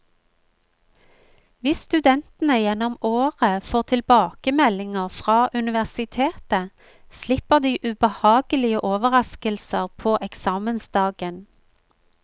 Hvis studentene gjennom året får tilbakemeldinger fra universitetet, slipper de ubehagelige overrasker på eksamensdagen.